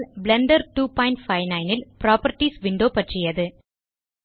Blender 259 ல் properties window பற்றியது